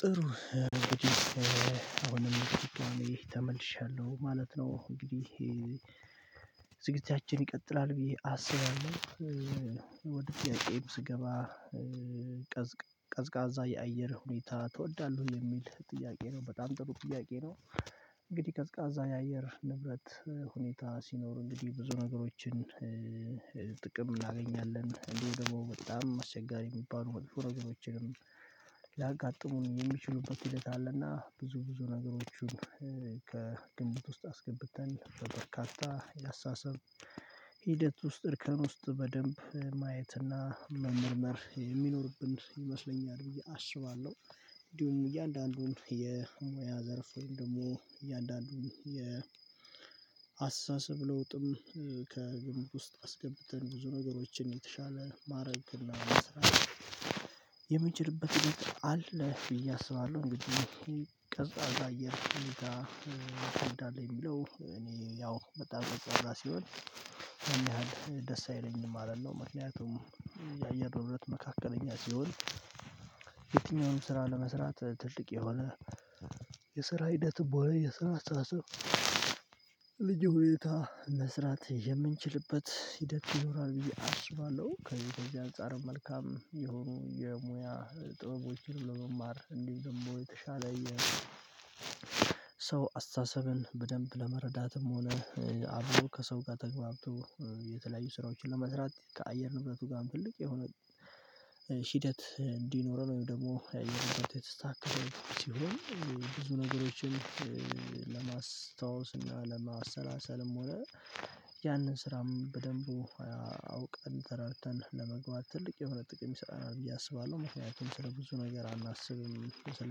ጥሩ እንግዲህ አሁንም በድጋሜ ተመልሻለሁ ማለት ነው። እንግዲህ ስግጅታችን ይቀጥላል ብዬ አስባለሁ። ወደ ጥያቄዬም ስገባ? ቀዝቃዛ የአየር ሁኔታ ትወዳለህ የሚል ጥያቄ ነው በጣም ጥሩ ጥያቄ ነው። እንግዲህ ቀዝቃዛ የአየር ንብረት ሁኔታ ሲኖር እንግዲህ ብዙ ነገሮችን ጥቅም እናገኛለን እንዲሁ ደግሞ በጣም አስቸጋሪ የሚባሉ መጥፎ ነገሮችንም ሊያጋጥሙን የሚችሉበት ሂደት አለና ብዙ ብዙ ነገሮቹን ከግምት ውስጥ አስገብተን በበርካታ ያስተሳሰብ ሂደት ውስጥ እርከን ውስጥ በደንብ ማየትና መመርመር የሚኖርብን ይመስለኛል ብዬ አስባለሁ። እንዲሁም እያንዳንዱን የሙያ ዘርፍ ወይም ደግሞ እያንዳንዱን የአስተሳሰብ ለውጥም ከግምት ውስጥ አስገብተን ብዙ ነገሮችን የተሻለ ማድረግ እና መሰራት የምነችልበት ሂደት ብዬ አስባለሁ። እንግዲህ ቀዝቃዛ አየር እንዳለ የሚለው እኔ ያው በጣም ቀዝቃዛ ሲሆን ያን ያህል ደስ አይለኝም ማለት ነው። ምክንያቱም የአየር ንብረት መካከለኛ ሲሆን የትኛውምንም ስራ ለመስራት ትልቅ የሆነ የስራ ሂደት ሆነ የስራ አስተሳሰብ ልዩ ሁኔታ መስራት የምንችልበት ሂደት ይኖራል ብዬ አስባለሁ። ከዚህ ከዚህ አንፃር መልካም የሆኑ የሙያ ጥበቦችን በመማር እንዲህ ደግሞ የተሻለ ሰው አስተሳሰብን በደንብ ለመረዳትም ሆነ አብሮ ከሰው ጋር ተግባብቶ የተለያዩ ስራዎችን ለመስራት ከአየር ንብረቱ ጋም ትልቅ የሆነ ሂደት እንዲኖረን ወይም ደግሞ የአየር ንብረት የተስተካከለ ሲሆን ብዙ ነገሮችን ለማስታወስና ለማሰላሰልም ሆነ ያንን ስራም በደንቡ አውቀን ተረድተን ለመግባት ትልቅ የሆነ ጥቅም ይሰጠናል ብዬ አስባለሁ። ምክንያቱም ስለ ብዙ ነገር አናስብም ስለ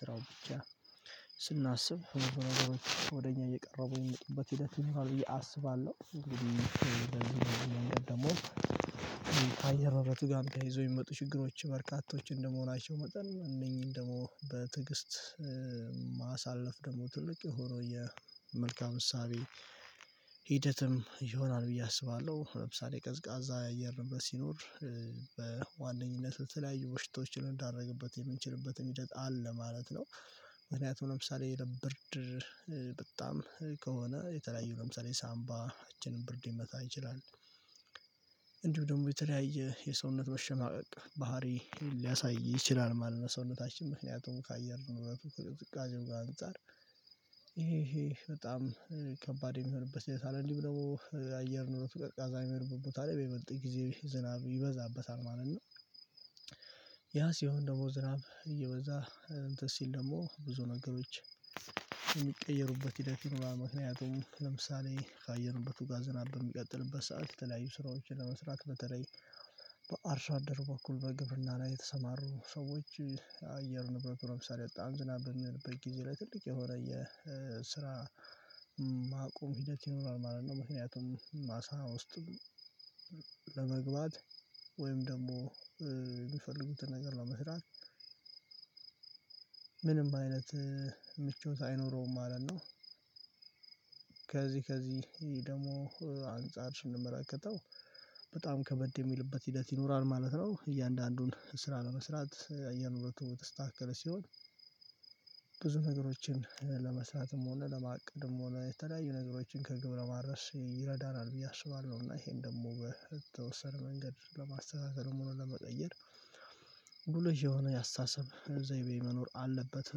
ስራው ብቻ ስናስብ ብዙ ነገሮች ወደ እኛ እየቀረቡ የሚመጡበት ሂደት ይኖራል ብዬ አስባለሁ። እንግዲህ ደግሞ አየር ንብረቱ ጋር ተያይዘው የሚመጡ ችግሮች በርካቶች እንደመሆናቸው መጠን እነኚህን ደግሞ በትዕግስት ማሳለፍ ደግሞ ትልቅ የሆነው የመልካም እሳቤ ሂደትም ይሆናል ብዬ አስባለሁ። ለምሳሌ ቀዝቃዛ የአየር ነብረት ሲኖር በዋነኝነት ለተለያዩ በሽታዎችን ልንዳረግበት የምንችልበትም ሂደት አለ ማለት ነው። ምክንያቱም ለምሳሌ የብርድ በጣም ከሆነ የተለያዩ ለምሳሌ ሳምባችንን ብርድ ሊመታ ይችላል እንዲሁ ደግሞ የተለያየ የሰውነት መሽማቀቅ ባህሪ ሊያሳይ ይችላል ማለት ነው። ሰውነታችን ምክንያቱም ከአየር ነበረቱ ከቅዝቃዜው ጋ አንፃር ይሄ ይሄ በጣም ከባድ የሚሆንበት ሂደት አለ እንዲሁም ደግሞ የአየር ንበረቱ ቀዝቃዛ የሚሆንበት ቦታ ላይ በይበልጥ ጊዜ ዝናብ ይበዛበታል ማለት ነው። ያ ሲሆን ደግሞ ዝናብ እየበዛ እንትን ሲል ደግሞ ብዙ ነገሮች የሚቀየሩበት ሂደት ይኖራል ምክንያቱም ለምሳሌ ከአየርን ንብረቱ ጋር ዝናብ በሚቀጥልበት ሰዓት የተለያዩ ስራዎችን ለመስራት በተለይ በአርሶ አደር በኩል በግብርና ላይ የተሰማሩ ሰዎች አየር ንብረቱ ለምሳሌ በጣም ዝናብ በሚሆንበት ጊዜ ላይ ትልቅ የሆነ የስራ ማቆም ሂደት ይኖራል ማለት ነው። ምክንያቱም ማሳ ውስጥ ለመግባት ወይም ደግሞ የሚፈልጉትን ነገር ነው ለመስራት ምንም አይነት ምቾት አይኖረውም ማለት ነው። ከዚህ ከዚህ ደግሞ አንፃር ስንመለከተው በጣም ከበድ የሚልበት ሂደት ይኖራል ማለት ነው። እያንዳንዱን ስራ ለመስራት አየር ንብረቱ የተስተካከለ ሲሆን ብዙ ነገሮችን ለመሰራትም ሆነ ለማቅድም ሆነ የተለያዩ ነገሮችን ከግብ ለማድርስ ይረዳናል ብዬ አስባለሁ እና ይሄን ደግሞ በተወሰነ መንገድ ለማስተካከልም ሆኖ ለመቀየር ሉልሽ የሆነ ያስታሰብ ዘይቤ መኖር አለበት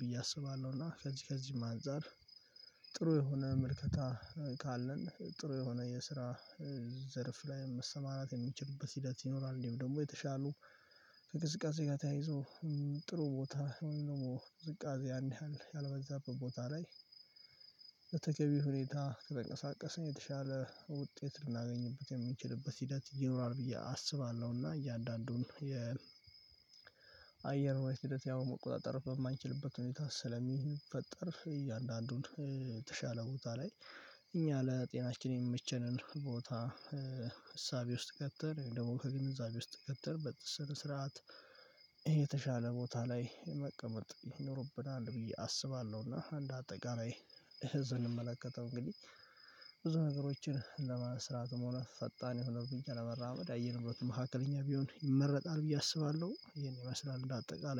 ብዬ አስባለሁ። እና ከዚህ ከዚህም አንፃር ጥሩ የሆነ መልከታ ካለን ጥሩ የሆነ የስራ ዘርፍ ላይ መሰማራት የምንችልበት ሂደት ይኖራል። እንዲሁ ደግሞ የተሻሉ ከቅዝቃዜ ጋር ተያይዞ ጥሩ ቦታ ከሆነ ደግሞ ቅዝቃዜ ያን ያህል ያልበዛበት ቦታ ላይ በተገቢው ሁኔታ ከተንቀሳቀሰን የተሻለ ውጤት ልናገኝበት የምንችልበት ሂደት ይኖራል ብዬ አስባለሁ። እና እያንዳንዱን የ አየር ንብረት ሂደት ያው መቆጣጠር በማንችልበት ሁኔታ ስለሚፈጠር እያንዳንዱን የተሻለ ቦታ ላይ እኛ ለጤናችን የሚመቸንን ቦታ እሳቤ ውስጥ ከተን ወይም ደግሞ ከግንዛቤ ውስጥ ከተን በስነ ስርዓት የተሻለ ቦታ ላይ መቀመጥ ይኖርብናል ብዬ አስባለሁ። እና እንደ አጠቃላይ እዝ ስንመለከተው እንግዲህ ብዙ ነገሮችን ለማስራትም ሆነ ፈጣን የሆነ እርምጃ ለመራመድ የአየር ንብረቱ መካከለኛ ቢሆን ይመረጣል ብዬ አስባለሁ ይሄን ይመስላል እንደ አጠቃላይ